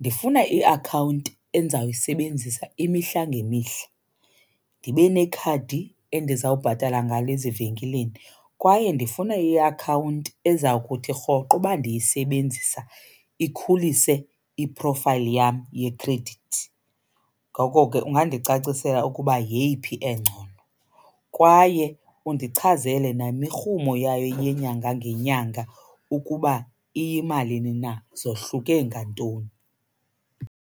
ndifuna iakhawunti endizawuyisebenzisa imihla ngemihla, ndibe nekhadi endizawubhatala ngalo ezivenkileni kwaye ndifuna iakhawunti eza kuthi rhoqo uba ndiyisebenzisa ikhulise i-profile yam yekhredithi. Ngoko ke ungandicacisela ukuba yeyiphi engcono kwaye undichazele nemirhumo yayo yenyanga ngenyanga ukuba iyimalini na, zohluke ngantoni.